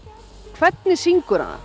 hvernig syngur hann